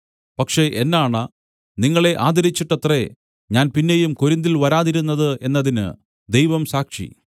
പക്ഷേ എന്നാണ നിങ്ങളെ ആദരിച്ചിട്ടത്രേ ഞാൻ പിന്നെയും കൊരിന്തിൽ വരാതിരുന്നത് എന്നതിന് ദൈവം സാക്ഷി